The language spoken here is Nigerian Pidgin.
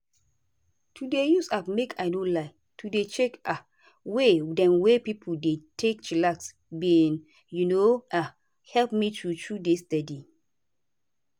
to dey use app make i no lie to dey check um way dem wey pipo dey take chillax bin um um help me true true dey steady.